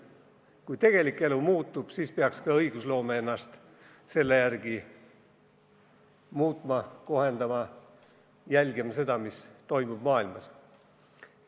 Kui tegelik elu muutub, siis peaks ka õigusloome ennast selle järgi muutma, kohendama, jälgima seda, mis toimub maailmas.